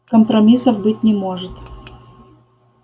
компромиссов быть не может